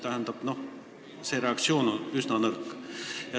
Tähendab, reaktsioon on üsna nõrk.